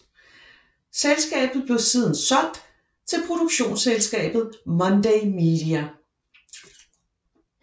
Selskabet blev siden solgt til produktionsselskabet Monday Media